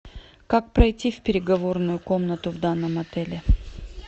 как пройти в переговорную комнату в данном отеле